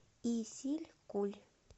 исилькуль